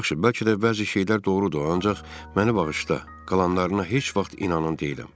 Yaxşı, bəlkə də bəzi şeylər doğrudur, ancaq məni bağışla, qalanlarına heç vaxt inanan deyiləm.